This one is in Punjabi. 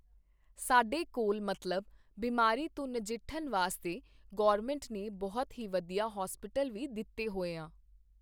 ਸਾਡੇ ਕੋਲ਼ ਮਤਲਬ ਬੀਮਾਰੀ ਤੋਂ ਨਜਿੱਠਣ ਵਾਸਤੇ ਗੌਰਮਿੰਟ ਨੇ ਬਹੁਤ ਹੀ ਵਧੀਆ ਹੋਸਪੀਟਲ ਵੀ ਦਿੱਤੇ ਹੋਏ ਆਂ